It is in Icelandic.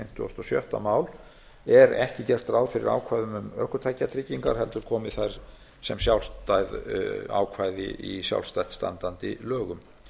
fimmtugasta og sjötta mál er ekki gert ráð fyrir ákvæðum um ökutækjatryggingar heldur komi þær sem sjálfstæð ákvæði í sjálfstætt standandi lögum